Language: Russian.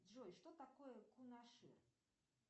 джой что такое кунашир